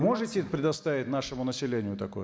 можете предоставить нашему населению такое